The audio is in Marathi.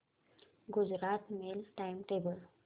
Gujarat mail time table